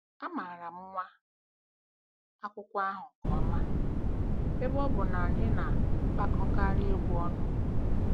Amaara m nwa akwụkwọ ahụ nke ọma, ebe ọ bụ na anyị na-akpọkọkarị egwú ọnụ.